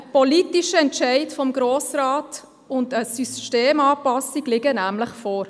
Ein politischer Entscheid des Grossen Rats und eine Systemanpassung liegen nämlich vor.